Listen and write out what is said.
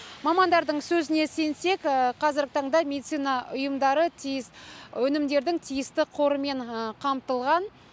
мамандардың сөзіне сенсек қазіргі таңда медицина ұйымдары өнімдердің тиісті қорымен қамтылған